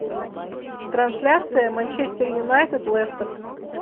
трансляция манчестер юнайтед лестер